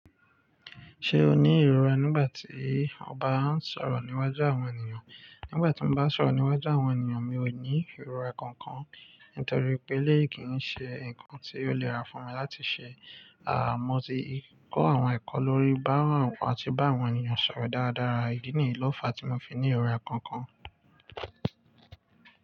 Ṣé o ní ìrora nígbà tí ọba ń sọ̀rọ̀ níwájú àwọn ènìyàn? Nígbà tí mo bá ń sọ̀rọ̀ níwájú àwọn ènìyàn, mi ò ní ìrora kankan. Nítorí pé, lé èyí kì í ṣe nǹkan tí ó lè rá fún mi láti ṣe. Àmọ́ tí kọ́ àwọn ẹ̀kọ́ lórí báwọn àwọn àti bá àwọn ènìyàn sọ̀rọ̀ dáradára, ìdí nìyí ló fa tí mo fi ní ìrora kankan.